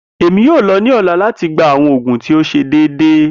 Emi yoo lọ ni ọla lati gba awọn oogun ti o ṣe deede.